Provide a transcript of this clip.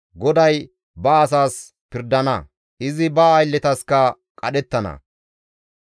GODAY ba asaas pirdana; izi ba aylletaskka qadhettana.